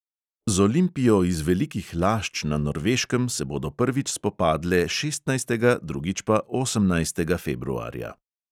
Z olimpijo iz velikih lašč na norveškem se bodo prvič spopadle šestnajstega drugič pa osemnajstega februarja.